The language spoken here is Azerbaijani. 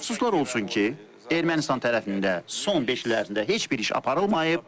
Təəssüflər olsun ki, Ermənistan tərəfində son beş il ərzində heç bir iş aparılmayıb.